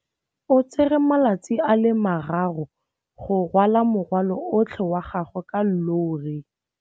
O tsere malatsi a le marraro go rwala morwalo otlhe wa gagwe ka llori.